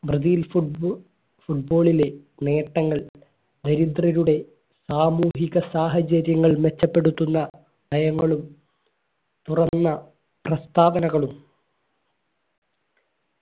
Brazil football football ലെ നേട്ടങ്ങൾ ദരിദ്രരുടെ സാമൂഹിക സാഹചര്യങ്ങൾ മെച്ചപ്പെടുത്തുന്ന നയങ്ങളും തുറന്ന പ്രസ്താവനകളും